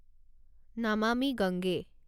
Namami Gange